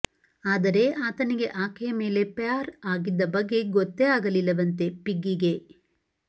ಆದರೆ ಆತನಿಗೆ ಆಕೆಯ ಮೇಲೆ ಪ್ಯಾರ್ ಆಗಿದ್ದ ಬಗ್ಗೆ ಗೊತ್ತೇ ಆಗಲಿಲ್ಲವಂತೆ ಪಿಗ್ಗಿಗೆ